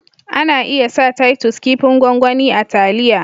Ana iya sa " Titus" kipin gwangwani a taliya.